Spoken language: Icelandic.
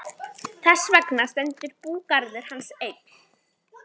Þess vegna stendur búgarður hans enn.